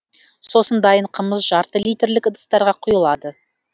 сосын дайын қымыз жарты литрлік ыдыстарға құйылады